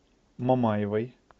мамаевой